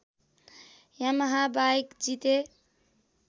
Yamaha bike जिते